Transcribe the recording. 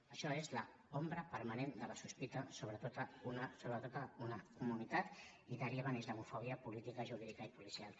això és l’ombra permanent de la sospita sobre tota una comunitat i deriva en islamofòbia política jurídica i policial